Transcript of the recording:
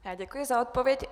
Děkuji za odpověď.